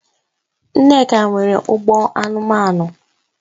Nneka nwere ugbo anumanu